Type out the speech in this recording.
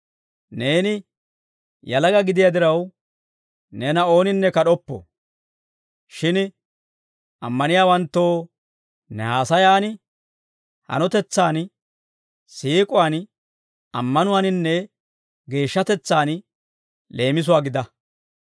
Neeni yalaga gidiyaa diraw, neena ooninne kad'oppo. Shin ammaniyaawanttoo ne haasayan, hanotetsan, siik'uwaan, ammanuwaaninne geeshshatetsaan leemisuwaa gida.